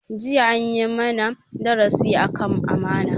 Jiya an yi mana darasi akan amana